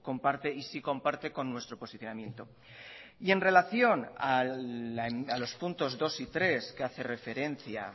comparte y sí comparte con nuestro posicionamiento y en relación a los puntos dos y tres que hace referencia